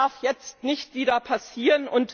Das darf jetzt nicht wieder passieren!